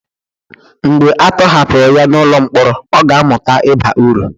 mgbe a tọhapụrụ ya n'ụlọ mkpọrọ ọ ga-amụta ịba uru